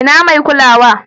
Ina mai kulawa?